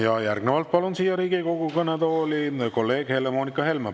Ja järgnevalt palun siia Riigikogu kõnetooli kolleeg Helle-Moonika Helme.